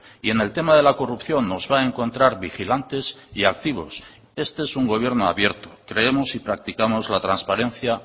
y en el tema de la corrupción nos va a encontrar vigilantes y activos este es un gobierno abierto creemos y practicamos la transparencia